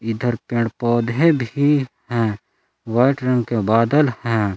इधर पेड़ पौधे भी हैं व्हाइट रंग के बादल हैं।